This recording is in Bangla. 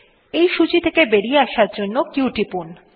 এই সূচী থেকে বেরিয়ে আসার জন্য q টিপুন